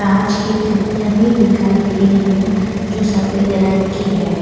कांच की किड़कियां भी दिखाई दे रही है जो सफेद रंग की है.